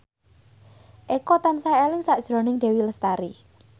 Eko tansah eling sakjroning Dewi Lestari